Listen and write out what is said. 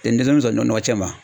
deenmisɛnninw tɛ sɔn nɔgɔ cɛ ma.